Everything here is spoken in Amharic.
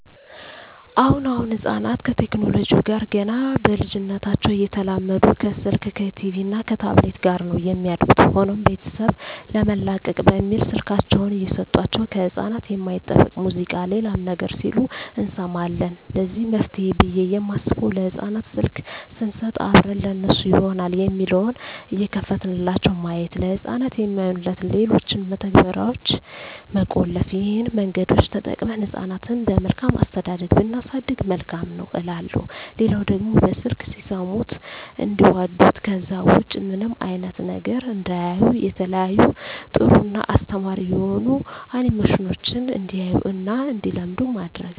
አሁን አሁን ህጻናት ከቴክኖለጂው ጋር ገና በልጂነታቸው እየተላመዱ ከስልክ ከቲቪ እና ከታብሌት ጋር ነው የሚያድጉት። ሆኖም ቤተሰብ ለመላቀቅ በሚል ስልካቸውን እየሰጦቸው ከህጻናት የማይጠበቅ ሙዚቃ ሌላም ነገር ሲሉ እንሰማለን ለዚህ መፍትሄ ብየ የማስበው ለህጻናት ስልክ ሰንሰጥ አብረን ለነሱ ይሆናል የሚለውን እየከፈትንላቸው ማየት፤ ለህጻናት የማይሆኑትን ሌሎችን መተግበርያዋች መቆለፍ ይህን መንገዶች ተጠቅመን ህጻናትን በመልካም አስተዳደግ ብናሳድግ መልካም ነው እላለሁ። ሌላው ደግሞ በስልክ ሲሰሙት እንዲዋዱት ከዛ ውጭ ምንም አይነት ነገር እንዳያዩ የተለያዩ ጥሩ እና አስተማሪ የሆኑ አኒሜሽኖችን እንዲያዩ እና እንዲለምዱ ማድረግ።